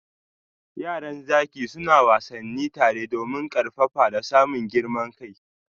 Yaran zaki suna wassani tare domin karfafa da samun girman kai.